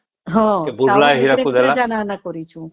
ହଁ ଟାଉନ ଭିତରେ ଆମେ କରିଛୁ